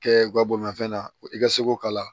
Kɛ u ka bolimafɛn na i ka se k'o k'a la